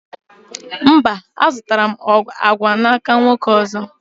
Mba, a zụtara m agwa n'aka nwoke ọzọ